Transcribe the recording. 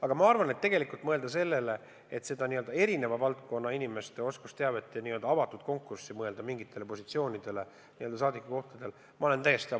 Aga ma arvan, et tegelikult tuleks tõesti mõelda sellele, et võiks erineva valdkonna inimeste oskusteavet paremini kasutada ja täita teatud saadikukohti avatud konkurssidega.